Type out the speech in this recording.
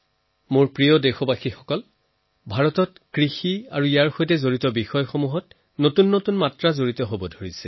মোৰ মৰমৰ দেশবাসী ভাৰতত খেতি আৰু তাৰ সৈতে জড়িত বিষয়ৰ সৈতে নতুন দিশৰ সংযোগ ঘটিছে